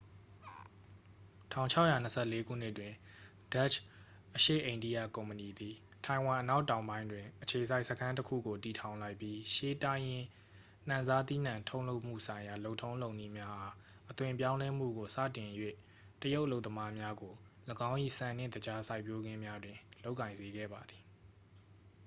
1624 ခုနှစ်တွင် ဒတ်ရှ် အရှေ့အိန္ဒိယကုမ္ပဏီသည် ထိုင်ဝမ်အနောက်တောင်ပိုင်းတွင် အခြေစိုက်စခန်းတစ်ခုကို တည်ထောင်လိုက်ပြီး ရှေးတိုင်းရင်းနှံစားသီးနှံထုတ်လုပ်မှုဆိုင်ရာ လုပ်ထုံးလုပ်နည်းများအား အသွင်ပြောင်းလဲမှုကို စတင်၍ တရုတ်အလုပ်သမားများကို ၎င်း၏ ဆန်နှင့် သကြားစိုက်ပျိုးခင်းများတွင် လုပ်ကိုင်စေခဲ့သည်